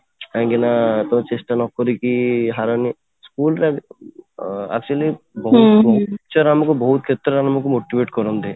କାହିଁକି ନା ଚେଷ୍ଟା ନ କରିକି ହାରନି school ନା ଅଂ actually teacher ଆମକୁ ବହୁତ କ୍ଷେତ୍ର ରେ ଆମକୁ motivate କରନ୍ତି